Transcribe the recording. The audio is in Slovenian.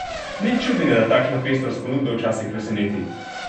Nič čudnega, da takšna pestrost ponudbe včasih preseneti.